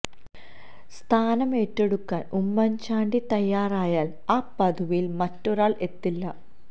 സ്ഥാനം ഏറ്റെടുക്കാൻ ഉമ്മൻ ചാണ്ടി തയ്യാറായാൽ ആ പദവിയിൽ മറ്റൊരാൾ എത്തില്ല